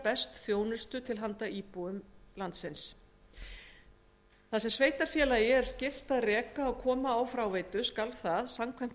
best þjónustu til handa íbúum sveitarfélaganna þar sem sveitarfélagi er skylt að reka og koma á fót fráveitu skal það samkvæmt